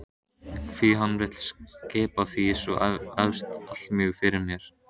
Hví hann vill skipa því svo vefst allmjög fyrir mér.